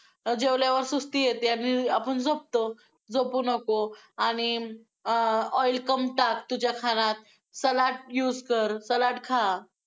जेवल्यावर सुस्ती येते आणि आपण झोपतो, झोपू नको आणि अं oil कम टाक तुझ्या खाण्यात, सलाड use कर, सलाड खा.